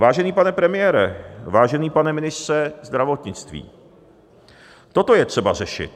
Vážený pane premiére, vážený pane ministře zdravotnictví, toto je třeba řešit.